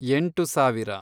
ಎಂಟು ಸಾವಿರ